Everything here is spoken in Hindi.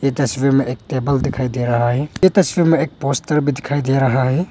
ये तस्वीर में एक टेबल दिखाई दे रहा है यह तस्वीर में एक पोस्टर दे रहा है।